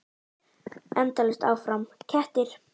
Endalaust áfram: kettir.